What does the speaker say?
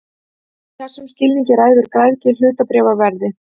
Í þessum skilningi ræður græðgi hlutabréfaverði.